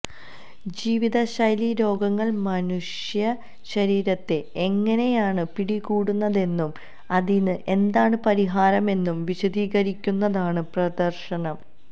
ജീവിത ശൈലീ രോഗങ്ങള് മനുഷ്യ ശരീരത്തെ എങ്ങനെയാണ് പിടികൂടുന്നതെന്നും അതിന് എന്താണ് പരിഹാരമെന്നും വിശദീകരിക്കുന്നതാണ് പ്രദര്ശനം